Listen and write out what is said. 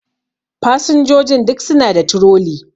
Fasinjojin duk suna da troli